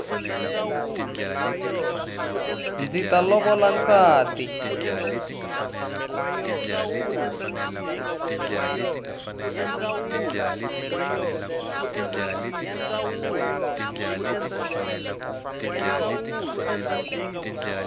ndzi ta lovola nsati